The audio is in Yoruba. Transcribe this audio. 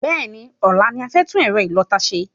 Bẹ́ẹ̀ni, ọ̀la ni a fẹ́ tún ẹ̀rọ ìlọta ṣe